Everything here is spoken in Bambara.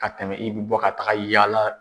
Ka tɛmɛ i bɛ bɔ ka taga yala.